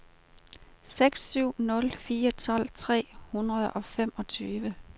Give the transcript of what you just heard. seks syv nul fire tolv tre hundrede og femogtyve